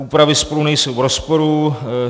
Úpravy spolu nejsou v rozporu.